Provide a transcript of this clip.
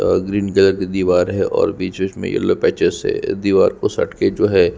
और green colour के दीवार है और बीच-बीच में येलो पैचेस से दीवार को सटके जो है।